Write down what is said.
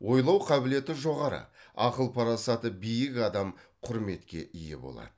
ойлау қабілеті жоғары ақыл парасаты биік адам құрметке ие болады